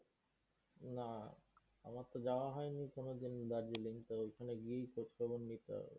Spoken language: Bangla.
না। আমার যাওয়া হইনি কোনোদিন দার্জিলিং তো ঐখানে গিয়েই খোঁজ খবর নিতে হবে।